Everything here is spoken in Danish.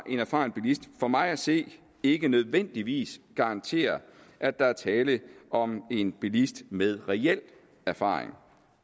en erfaren bilist for mig at se ikke nødvendigvis garanterer at der er tale om en bilist med reel erfaring